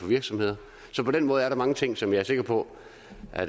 virksomheder så på den måde er der mange ting som jeg er sikker på